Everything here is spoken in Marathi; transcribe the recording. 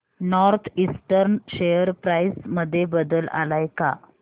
नॉर्थ ईस्टर्न शेअर प्राइस मध्ये बदल आलाय का